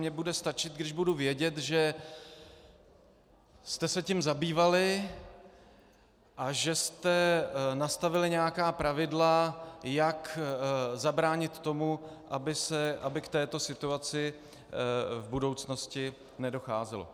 Mně bude stačit, když budu vědět, že jste se tím zabývali a že jste nastavili nějaká pravidla, jak zabránit tomu, aby k této situaci v budoucnosti nedocházelo.